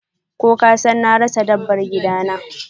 Ko kasan na rasa dabbar gidana?